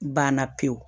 Banna pewu